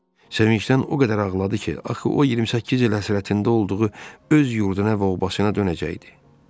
Sevincdən o qədər ağladı ki, axı o 28 il həsrətində olduğu öz yurduna və obasına dönəcəkdi.